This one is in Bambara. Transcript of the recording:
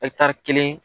kelen